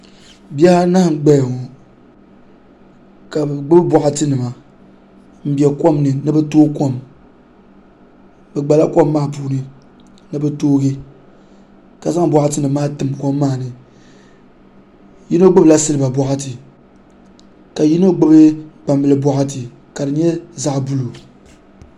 Bihi anahi n gbaya ŋo ka bi gbubi boɣati nima n bɛ kom ni ni bi tooi kom bi gbala kom maa puuni ni bi toogi ka zaŋ boɣati nim maa tim kom maa ni yino gbubila silba boɣati ka yino gbubi gbambili boɣati ka di nyɛ zaɣ buluu